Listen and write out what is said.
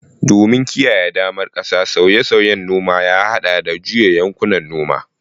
Domin kiyaye daman ƙasa, sauye-sauyen noma ya haɗa da juya yankunan noma.